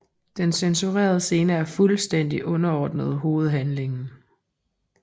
De censurerede scener er fuldstændigt underordnede hovedhandlingen